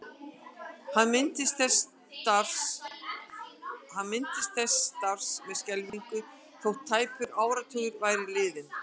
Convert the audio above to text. Hann minntist þessa starfs með skelfingu þótt tæpur áratugur væri liðinn.